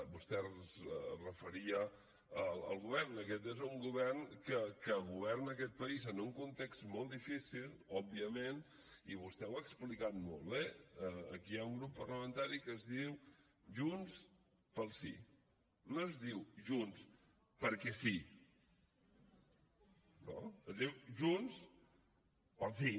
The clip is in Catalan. vostè es referia al govern aquest és un govern que governa aquest país en un context molt difícil òbviament i vostè ho ha explicat molt bé aquí hi ha un grup parlamentari que es diu junts pel sí no es diu junts perquè sí no es diu junts pel sí